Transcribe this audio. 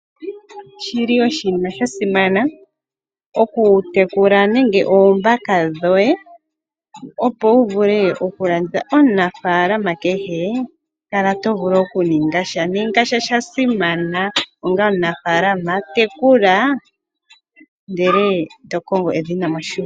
Oshi li oshinima sha simana, okutekula nenge oombaka. Opo wu vule okulanditha, omunafaalama kehe kala to vulu okuninga sha. Ninga sha sha simana. Onga omunafaalama tekula ndele to kongo edhina moshigwana.